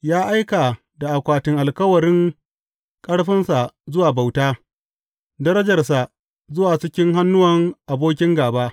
Ya aika da akwatin alkawarin ƙarfinsa zuwa bauta, darajarsa zuwa cikin hannuwan abokin gāba.